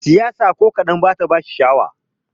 Siyasa ko kadan bata bashi sha'awa.